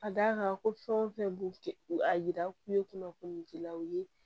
A da kan ko fɛn o fɛn b'u a yira k'u ye kunnafoni dilaw ye